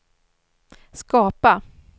skapa